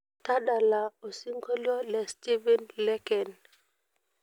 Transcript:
tadala osiongolio le stephen leken